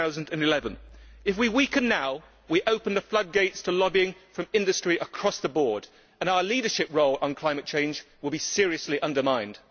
2011. If we weaken now, we open the floodgates to lobbying from industry across the board, and our leadership role on climate change will be seriously undermined.